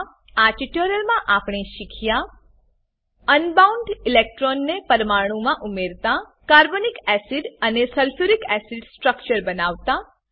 Iઆ ટ્યુટોરીયલમાં આપણે શીખ્યા અનબાઉન્ડ ઈલેક્ટ્રોન્સ ને પરમાણુમા ઉમેરતા કાર્બોનિક એસિડ અને સલ્ફ્યુરિક એસિડ સ્ટ્રક્ચર બનાવતા